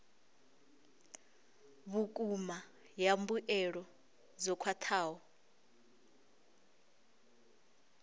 vhukuma ya mbuelo dzo khwathaho